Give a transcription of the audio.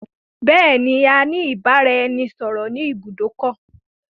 Bẹ̀ẹ̀ẹ̀ni, a ní ìbáraẹnisọọ̀rọ̀ ni ibùdó ọkọ̀.